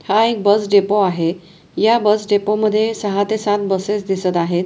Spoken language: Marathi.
हा एक बस डेपो आहे या बस डेपो मधे सहा ते सात बसेस दिसत आहेत.